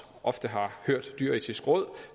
ofte har hørt det dyreetiske råd